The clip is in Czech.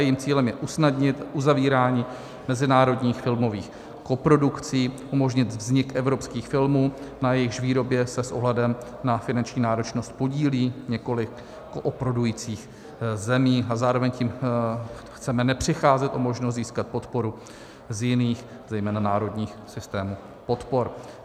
Jejím cílem je usnadnit uzavírání mezinárodních filmových koprodukcí, umožnit vznik evropských filmů, na jejichž výrobě se s ohledem na finanční náročnost podílí několik koprodukujících zemí, a zároveň tím chceme nepřicházet o možnost získat podporu z jiných zejména národních systémů podpor.